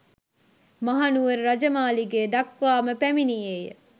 මහනුවර රජ මාලිගය දක්වා ම පැමිණියේය